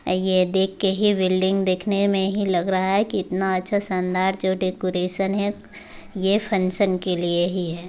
ये देख के ही बिल्डिंग देखने में ही लग रहा है की इतना अच्छा शानदार जो डेकोरेशन है ये फंक्शन के लिए ही है।